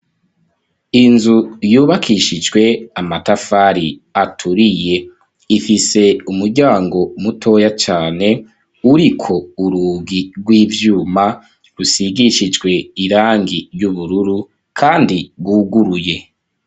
Inzu, yubakishijwe amatafari, aturiye; ifise umuryango, mutoya cane, uriko urugi rw'ivyuma, rusigishijwe irangi ry'ubururu, kandi rwuguruye.